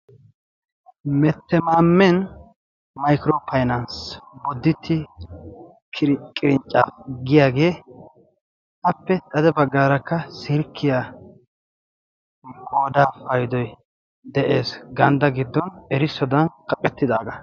Mettemaamen maykiro paynansi bodditte qirinccapiya giyaagee appe xade baggaarakka silkkiyaa godaa paydoy de'ees. gandda giddon erissodan qaphphettidaagaa.